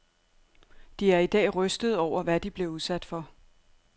De er i dag rystede over, hvad de blev udsat for.